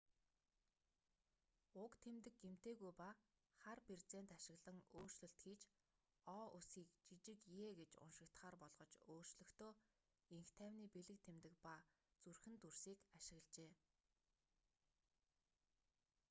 уг тэмдэг гэмтээгүй ба хар берзент ашиглан өөрчлөлт хийж о үсгийг жижиг е гэж уншигдахаар болгож өөрчлөхдөө энх тайвны бэлэг тэмдэг ба зүрхэн дүрсийг ашиглажээ